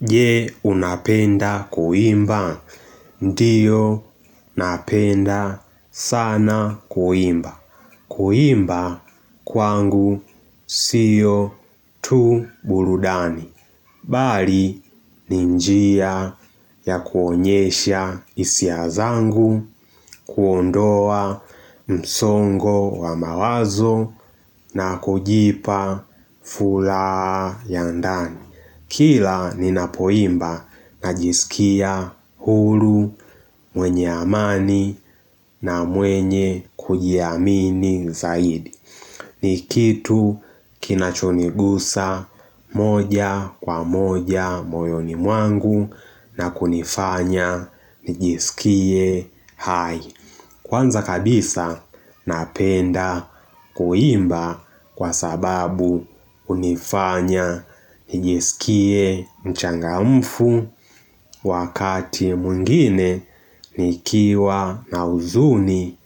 Je unapenda kuimba? Ndiyo napenda sana kuimba. Kuimba kwangu siyo tu burudani. Bali ni njia ya kuonyesha hisia zangu kuondoa msongo wa mawazo na kujipa furaha ya ndani. Kila ninapoimba najisikia huru mwenye amani na mwenye kujiamini zaidi Nikitu kinachonigusa moja kwa moja moyoni mwangu na kunifanya najisikie hai Kwanza kabisa napenda kuimba kwa sababu unifanya nijiskie mchangamfu wakati mwingine nikiwa na huzuni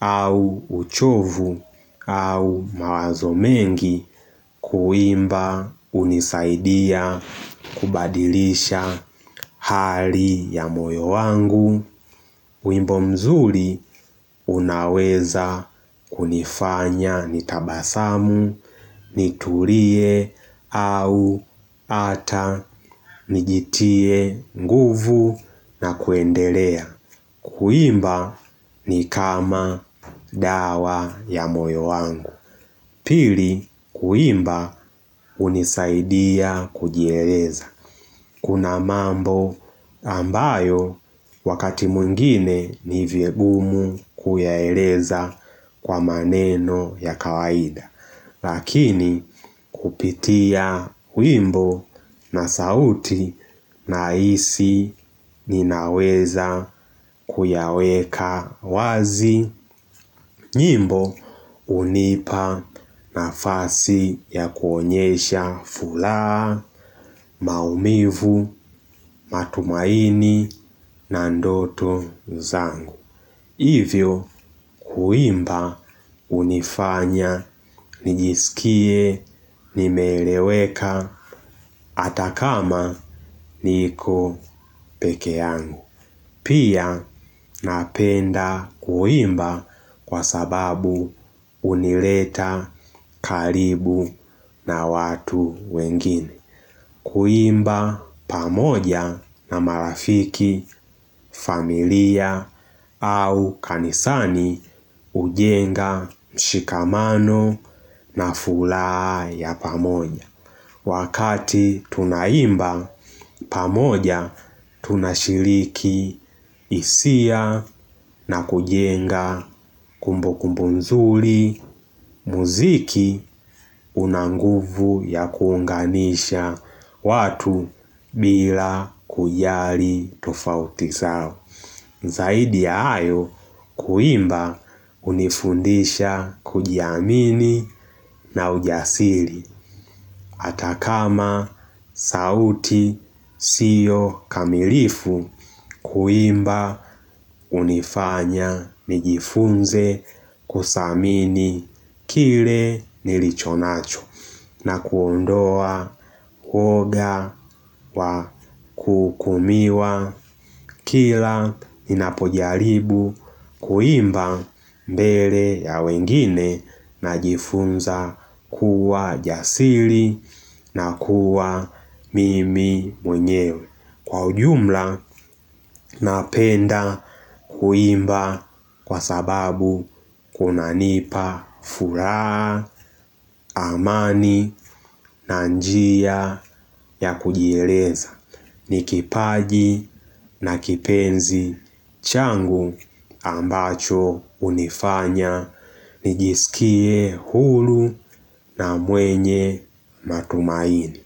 au uchovu au mawazo mengi kuimba unisaidia kubadilisha hali ya moyo wangu. Wimbo mzuri unaweza kunifanya nitabasamu, nitulie au ata, nijitie nguvu na kuendelea. Kuimba ni kama dawa ya moyo wangu. Pili kuimba unisaidia kujieleza. Kuna mambo ambayo wakati mwingine ni vigumu kuyaeleza kwa maneno ya kawaida Lakini kupitia wimbo na sauti nahisi ninaweza kuyaweka wazi nyimbo unipa nafasi ya kuonyesha furaha, maumivu, matumaini, na ndoto zangu. Hivyo kuimba unifanya, nijiskie, nimeeleweka, hata kama niko peke yangu. Pia napenda kuimba kwa sababu unileta karibu na watu wengine Kuimba pamoja na marafiki familia au kanisani ujenga mshikamano na furaha ya pamoja Wakati tunaimba pamoja tunashiriki hisia na kujenga kumbukumbu nzuri mziki una nguvu ya kuunganisha watu bila kujali tofauti zao Zaidi ya hayo kuimba unifundisha kujiamini na ujasiri Atakama sauti siyo kamilifu kuimba unifanya nijifunze kuthamini kile nilichonacho na kuondoa uoga wa kukumiwa kila ninapojaribu kuimba mbele ya wengine najifunza kuwa jasiri na kuwa mimi mwenyewe Kwa ujumla napenda kuimba Kwa sababu kunanipa furaha, amani, na njia ya kujieleza ni kipaji na kipenzi changu ambacho unifanya nijisikie huru na mwenye matumaini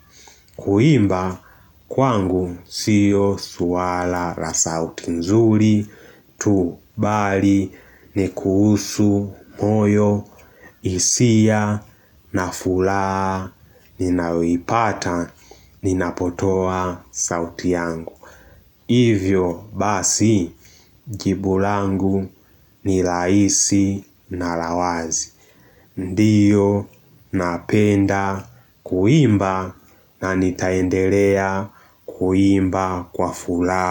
Kuimba kwangu siyo swala la sauti nzuri tu bali ni kuhusu moyo hisia na furaha Ninayoipata ninapotoa sauti yangu Hivyo basi jibu langu ni rahisi na la wazi Ndiyo napenda kuimba na nitaendelea kuimba kwa furaha.